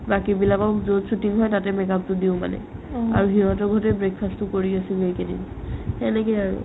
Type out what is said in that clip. বাকি বিলাকক য'ত shooting হয় তাতে make-up তো দিও মানে আৰু সিহঁতৰ ঘৰতে breakfast তো কৰি আছো সেইকেইদিন সেনেকেই আৰু